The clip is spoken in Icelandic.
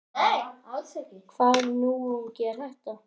Hvaða náungi er þetta?